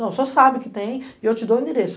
Não, o senhor sabe que tem e eu te dou o endereço.